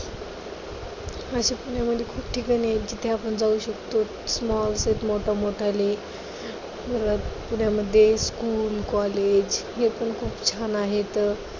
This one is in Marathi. अशी पुण्यामध्ये खूप ठिकाणे आहेत जिथे आपण जाऊ शकतो. small मोठमोठाले परत पुण्यामध्ये school, college ही पण खूप छान आहेत.